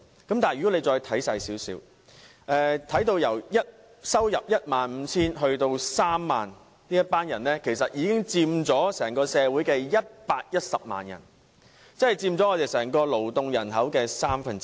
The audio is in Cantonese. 可是，如果再看仔細一點，月入介乎 15,000 元至 30,000 元的人士，其實已有110萬人，佔整個勞動人口的三分之一。